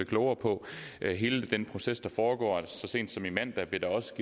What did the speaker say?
klogere på hele den proces der foregår så sent som i mandags blev der også